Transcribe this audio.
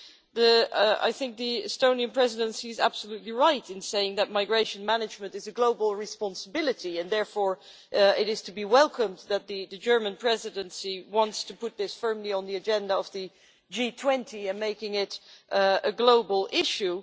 The Estonian Presidency is absolutely right in saying that migration management is a global responsibility, and therefore it is to be welcomed that the German Presidency wants to put this firmly on the agenda of the G20, making it a global issue.